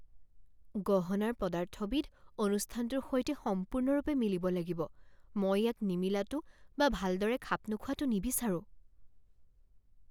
গহনাৰ পদাৰ্থবিধ অনুষ্ঠানটোৰ সৈতে সম্পূৰ্ণৰূপে মিলিব লাগিব। মই ইয়াক নিমিলাটো বা ভালদৰে খাপ নোখোৱাটো নিবিচাৰো।